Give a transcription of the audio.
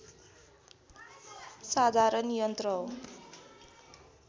साधारण यन्त्र हो